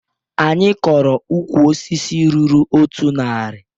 Anyị kọrọ ukwu osisi ruru otu nari